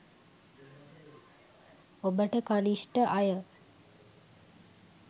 ඔබට කණිෂ්ඨ අය